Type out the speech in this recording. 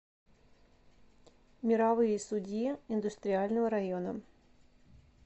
мировые судьи индустриального района